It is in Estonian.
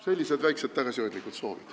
Sellised väiksed tagasihoidlikud soovid.